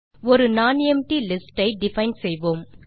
ஒரு non empty list ஐ define செய்வோம்